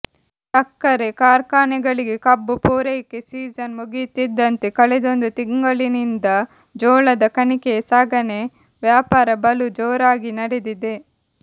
ಸಕ್ಕರೆ ಕಾರ್ಖಾನೆಗಳಿಗೆ ಕಬ್ಬು ಪೂರೈಕೆ ಸೀಸನ್ ಮುಗಿಯುತ್ತಿದ್ದಂತೆ ಕಳೆದೊಂದು ತಿಂಗಳಿನಿಂದ ಜೋಳದ ಕಣಿಕೆಯ ಸಾಗಣೆ ವ್ಯಾಪಾರ ಬಲು ಜೋರಾಗಿ ನಡೆದಿದೆ